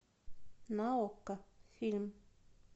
на окко фильм